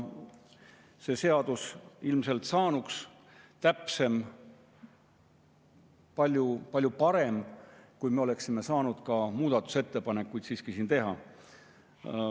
See seadus saanuks ilmselt täpsem, palju-palju parem, kui me oleksime saanud siiski muudatusettepanekuid teha.